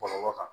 Bɔlɔlɔ kan